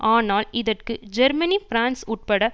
ஆனால் இதற்கு Germany France உட்பட